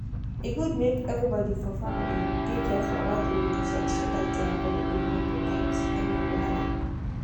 e good make everybody for family dey careful about the way they do sex so that their body go dey kampe without any wahala.